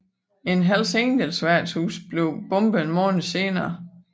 Et Hells Angels værtshus blev bombet en måned senere